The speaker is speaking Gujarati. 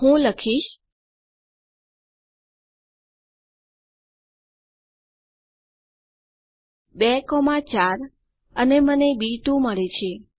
હું લખીશ 24 અને મને બી2 મળે છે